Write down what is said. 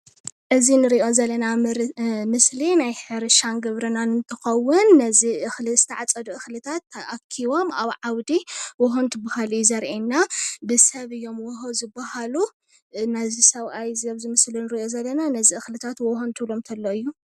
እዚ ንሪኦ ዘለና ምስሊ ናይ ሕርሻን ግብርናን እንትከዉን ነዚ እክሊ ዝተዓፅዱ እክልታት ተኣኪቦም ኣብ ዓዉዲ ዎሆ እንትብሃሉ እዩ ዘሪአና። ብሰብ እዮም ዎሆ ዝበሃሉ እና ዝሰብኣይ ኣብ'ዚ ምስሊ ንሪኦ ዘለና ነዚ እክልታት ዎሆ እንትብሎም ተሎ እዩ።